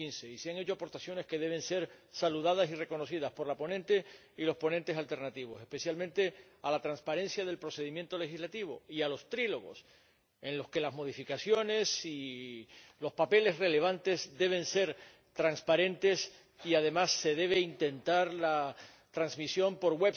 2015. Y se han hecho aportaciones que deben ser saludadas y reconocidas, por la ponente y los ponentes alternativos, especialmente en relación con la transparencia del procedimiento legislativo y con los diálogos tripartitos, en los que las modificaciones y los documentos relevantes deben ser transparentes y, además, se debe intentar transmitir por